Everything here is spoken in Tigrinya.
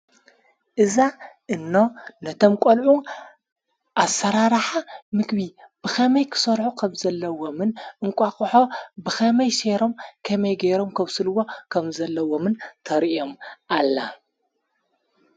እዛ እኖ ነቶም ቆልዑ ኣሰራርሓ ምግቢ ብኸመይ ክሰርሖ ኸም ዘለዎምን እንቋቅሖ ብኸመይ ሰይሮም ኸመይ ገይሮም ከብስልዎ ኸም ዘለዎምን ተርእዮም ኣላ።